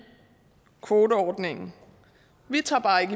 kvoteordningen vi tager bare ikke